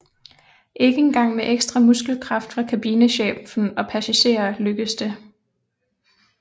Ikke engang med ekstra muskelkraft fra kabinechefen og passagerer lykkedes det